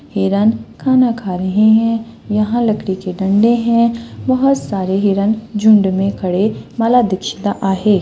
हिरण खाना खा रहे है यहाँ लकड़ी के डंडे है बहुत सारे हिरण झुंड मे खड़े माला दीक्षित आहे.